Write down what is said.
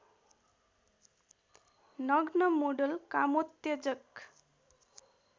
नग्न मोडल कमोत्तेजक